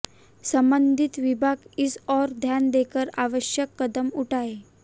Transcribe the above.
संबंधित विभाग इस ओर ध्यान देकर आवश्यक कदम उठाए